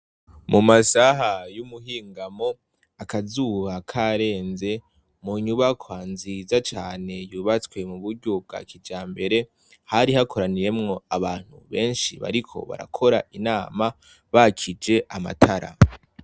Mumasaha y' umuhingamo akazuba karenze munyubakwa nziza cane yubatswe mu buryo bwa kijambere hari hakoraniyemwo abantu benshi bariko barakora inama bakije amatara.